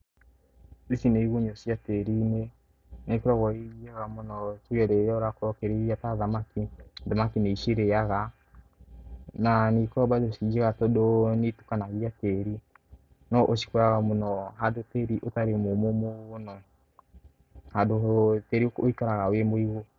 Ici nĩ igunyũ cia tĩĩri-inĩ. Na ikoragwo i njega mũno tuge rĩrĩa ũrakorwo ũkĩrĩithia ta thamaki. Thamaki nĩ icirĩaga, na nĩikoragwo bado ciĩ njega tondũ nĩitukanagia tĩri. No ũcikoraga mũno handũ tĩĩri ũtarĩ mũmũ mũno, handũ tiĩri wĩikaraga wĩ mũigũ.